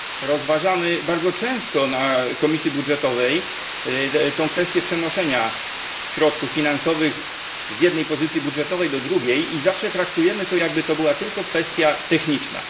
Rozważamy bardzo często na posiedzeniach Komisji Budżetowej tę kwestię przenoszenia środków finansowych z jednej pozycji budżetowej do drugiej i zawsze traktujemy to, jakby to była tylko kwestia techniczna.